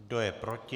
Kdo je proti?